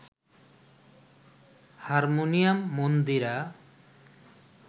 harmonium, Mandira